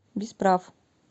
без прав